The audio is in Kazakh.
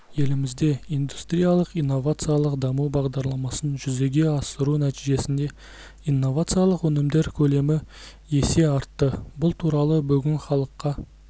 елімізде индустриялық-инновациялық даму бағдарламасын жүзеге асыру нәтижесінде инновациялық өнімдер көлемі есе артты бұл туралы бүгін халыққа